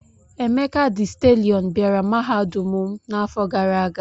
Emeka dị stalịọn bịara mahadum m n'afọ gara aga.